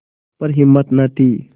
पर हिम्मत न थी